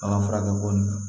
An ka furakɛ ko ninnu na